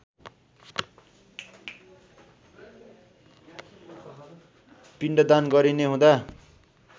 पिण्डदान गरिने हुँदा